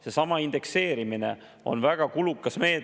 Seesama indekseerimine on väga kulukas meede.